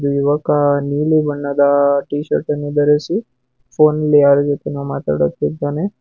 ಇಲ್ಲಿ ಯುವಕ ನೀಲಿ ಬಣ್ಣದ ಟೀ ಶರ್ಟ್ ಅನ್ನು ಧರಿಸಿ ಫೋನಿನಲ್ಲಿ ಯಾರಜೊತೇನೋ ಮಾತಾಡುತ್ತಿದ್ದಾನೆ.